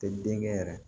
Tɛ denkɛ yɛrɛ